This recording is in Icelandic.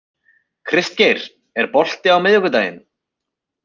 Kristgeir, er bolti á miðvikudaginn?